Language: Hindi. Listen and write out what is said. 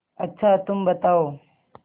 अच्छा तुम बताओ